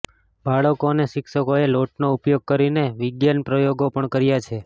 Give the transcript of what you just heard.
બાળકો અને શિક્ષકોએ લોટનો ઉપયોગ કરીને વિજ્ઞાન પ્રયોગો પણ કર્યા છે